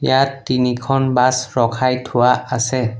ইয়াত তিনিখন বাছ ৰখাই থোৱা আছে।